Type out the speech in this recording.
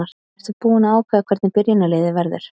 Ertu búinn að ákveða hvernig byrjunarliðið verður?